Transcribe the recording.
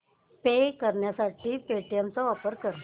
पे करण्यासाठी पेटीएम चा वापर कर